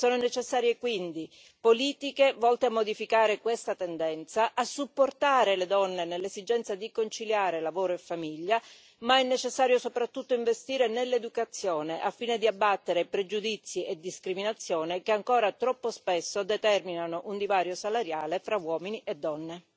Sono necessarie quindi politiche volte a modificare questa tendenza, a supportare le donne nell'esigenza di conciliare lavoro e famiglia, ma è necessario soprattutto investire nell'educazione, al fine di abbattere pregiudizi e discriminazione che ancora troppo spesso determinano un divario salariale tra uomini e donne.